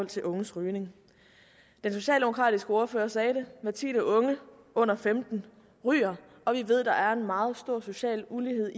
til unges rygning den socialdemokratiske ordfører sagde det hver tiende unge under femten år ryger og vi ved at der er meget stor social ulighed